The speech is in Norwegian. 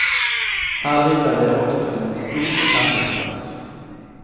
Her ligger det også en stor campingplass.